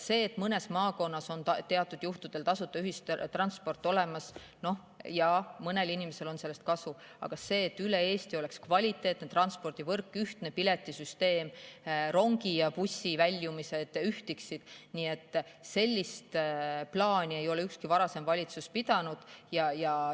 See, et mõnes maakonnas on teatud juhtudel tasuta ühistransport olemas – jaa, mõnel inimesel on sellest kasu, aga sellist plaani, et üle Eesti oleks kvaliteetne transpordivõrk, ühtne piletisüsteem, rongide ja busside väljumised ühtiksid, neid ole ükski varasem valitsus pidanud.